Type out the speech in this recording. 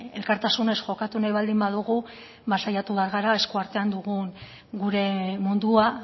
elkartasunez jokatu nahi baldin badugu ba saiatu behar gara esku artean dugun gure mundua